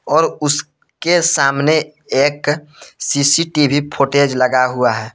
और उसके सामने एक सी_सी_टी_वी फ़ोटेज लगा हुआ है।